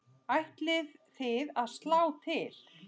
Ætlið þið að slá til?